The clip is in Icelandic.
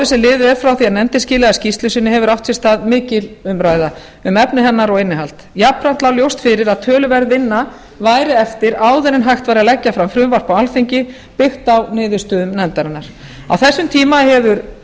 sem liðið er frá því að nefndin skilaði skýrslu sinni hefur átt sér stað mikil umræða um efni hennar og innihald jafnframt lá ljóst fyrir að töluverð vinna væri eftir áður en hægt væri að leggja fram frumvarp á alþingi byggt á niðurstöðum nefndarinnar á þessum tíma hefur